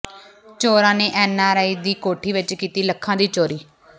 ਚੋਰਾਂ ਨੇ N R I ਦੀ ਕੋਠੀ ਚੋਂ ਕੀਤੀ ਲੱਖਾਂ ਦੀ ਚੋਰੀ